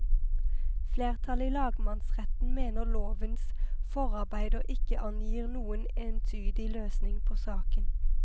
Flertallet i lagmannsretten mener lovens forarbeider ikke angir noen entydig løsning på saken.